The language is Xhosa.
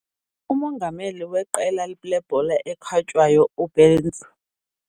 Umongameli weqela lebhola ekhatywayo ubenz